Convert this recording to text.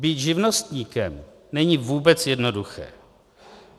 Být živnostníkem není vůbec jednoduché.